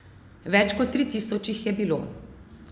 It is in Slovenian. Več kot tri tisoč jih je bilo.